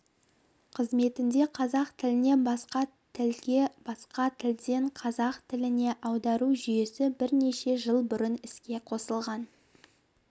қызметінде қазақ тілінен басқа тілге басқа тілден қазақ тіліне аудару жүйесі бірнеше жыл бұрын іске қосылған